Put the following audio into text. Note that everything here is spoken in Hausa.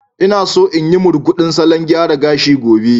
Ina so in yi murguɗin salon gyara gashi gobe.